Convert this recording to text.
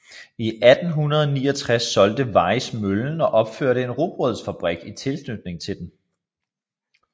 I 1869 solgte Weis møllen og opførte en rugbrødsfabrik i tilknytning til den